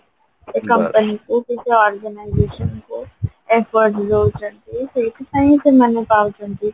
ସେଇ company କୁ କି ସେଇ organisation କୁ effort ଦଉଛନ୍ତି ସେଇଥିପାଇଁ ସେମାନେ ପାଉଛନ୍ତି